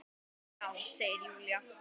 Já, segir Júlía.